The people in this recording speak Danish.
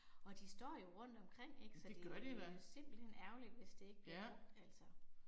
Og de står jo rundt omkring ik så det jo simpelthen ærgerligt hvis det ikke bliver brugt altså